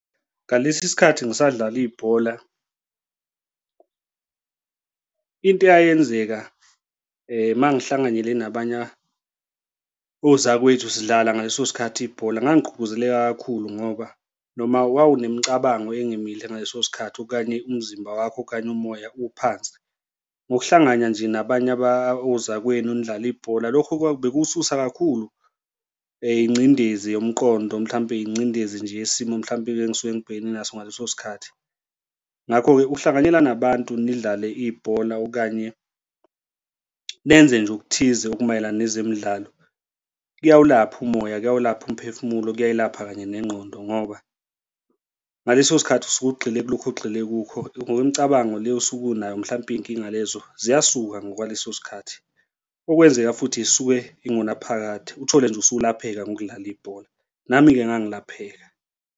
Ngalesi sikhathi ngisadlala ibhola into eyayenzeka uma ngihlanganyele nabanye ozakwethu sidlala ngaleso sikhathi ibhola ngangigqugquzeleka kakhulu ngoba noma kwakunemicabango emihle ngaleso sikhathi okanye umzimba wakho okanye umoya uphansi, ngokuhlangana nje nabanye ozakwenu nidlale ibhola. Lokho bekuwususa kakhulu ingcindezi yomqondo, mhlawumbe ingcindezi nje yesimo mhlawumbe engisuke ngibhekene naso ngaleso sikhathi. Ngakho-ke ukuhlanganyela nabantu, nidlale ibhola okanye nenze nje okuthize okumayelana nezemidlalo kuyawulapha umoya, kuyawulapha umphefumulo, kuyayilapha kanye nengqondo ngoba ngaleso sikhathi usuke ugxile kulokho ogxile kukho ngokwemicabango le osuke unayo mhlampe iy'nkinga lezo ziyasuka ngokwaleso sikhathi, okwenzeka futhi zisuke ingunaphakade uthole nje usulapheka ngokudlala ibhola, nami-ke ngangilapheka.